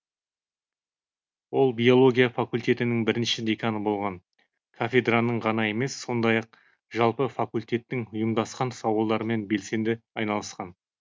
ол биология факультетінің бірінші деканы болған кафедраның ғана емес сондай ақ жалпы факультеттің ұйымдасқан сауалдарымен белсенді айналысқан